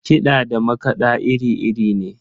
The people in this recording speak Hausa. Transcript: Kiɗa da makaɗa iri-iri ne.